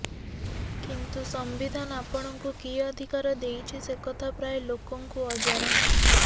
କିନ୍ତୁ ସମ୍ବିଧାନ ଆପଣଙ୍କୁ କି ଅଧିକାର ଦେଇଛି ସେକଥା ପ୍ରାୟ ଲୋକଙ୍କୁ ଅଜଣା